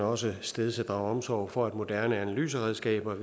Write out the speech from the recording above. også stedse drage omsorg for at moderne analyseredskaber